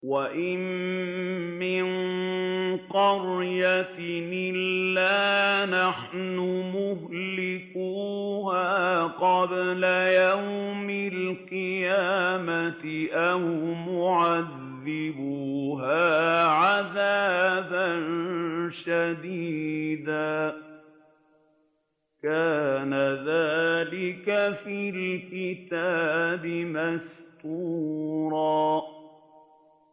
وَإِن مِّن قَرْيَةٍ إِلَّا نَحْنُ مُهْلِكُوهَا قَبْلَ يَوْمِ الْقِيَامَةِ أَوْ مُعَذِّبُوهَا عَذَابًا شَدِيدًا ۚ كَانَ ذَٰلِكَ فِي الْكِتَابِ مَسْطُورًا